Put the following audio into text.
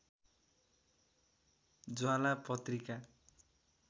ज्वाला पत्रिका